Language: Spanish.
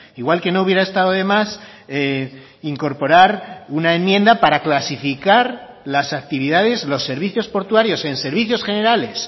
igual que no hubiera estado de más incorporar una enmienda para clasificar las actividades los servicios portuarios en servicios generales